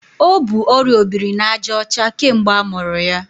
O bu ọrịa obirinajaọcha kemgbe amụrụ ya.